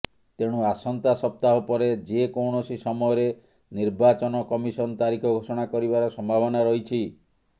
ତେଣୁ ଆସନ୍ତା ସପ୍ତାହ ପରେ ଯେ କୌଣସି ସମୟରେ ନିର୍ବାଚନ କମିସନ୍ ତାରିଖ ଘୋଷଣା କରିବାର ସମ୍ଭାବନା ରହିଛି